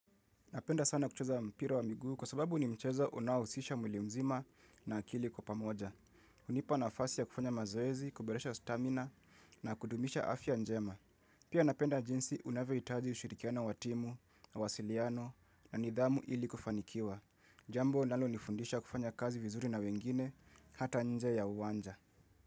Napenda sana kucheza mpira wa miguu kwa sababu ni mchezo unaohusisha mwili mzima na akili kwa pamoja. Hunipa nafasi ya kufanya mazoezi, kuboresha stamina na kudumisha afya njema. Pia napenda jinsi unavyohitaji ushirikiano wa timu, mawasiliano na nidhamu ili kufanikiwa. Jambo inalonifundisha kufanya kazi vizuri na wengine hata nje ya uwanja.